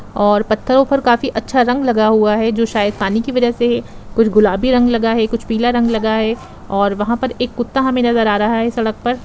और पत्थरो ऊपर काफी अच्छा रंग लगा हुआ है जो शायद पानी की वजह से कुछ गुलाबी रंग लगा है कुछ पीला रंग लगा है और वहां पर एक कुत्ता हमें नजर आ रहा है सड़क पर।